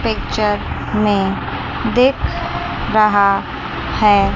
Picture में दिख रहा है।